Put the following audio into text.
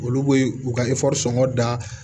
Olu be u ka sɔngɔ da